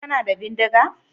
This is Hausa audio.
Kana da bindiga?